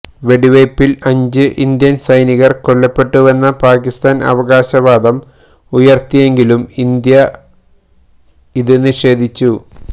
വെടിവെയ്പില് അഞ്ച് ഇന്ത്യന് സൈനികര് കൊല്ലപ്പെട്ടുവെന്ന് പാക്കിസ്ഥാന് അവകാശവാദം ഉയര്ത്തിയെങ്കിലും ഇന്ത്യ ഇത് നിഷേധിച്ചു